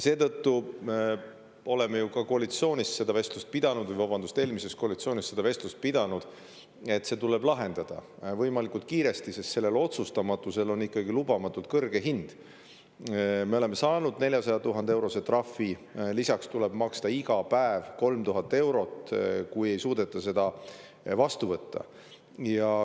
Seetõttu me oleme ju ka koalitsioonis seda vestlust pidanud, vabandust, eelmises koalitsioonis me pidasime seda vestlust, et see tuleb lahendada võimalikult kiiresti, sest otsustamatusel on ikkagi lubamatult kõrge hind: me oleme saanud 400 000‑eurose trahvi, lisaks tuleb maksta iga päev 3000 eurot, kui seda ei suudeta vastu võtta.